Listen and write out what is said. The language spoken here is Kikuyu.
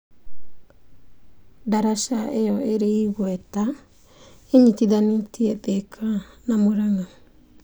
Daraca ĩyo ĩrĩ igweta ĩnyitithanagia Thĩka na Mũrang'a.